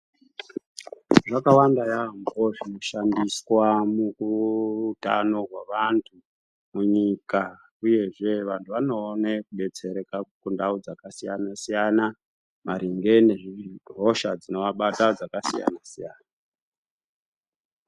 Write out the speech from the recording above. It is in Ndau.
Zvakawanda yaambo zvinoshandiswa mukuutano hwevantu mukunyika uyezve vantu vanoone kudetsereka kundau dzakasiyana siyana maringe nezvihosha dzinovabata dzakasiyana siyana.